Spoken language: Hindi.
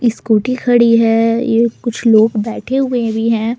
स्कूटी खड़ी है ये कुछ लोग बैठे हुए भी हैं।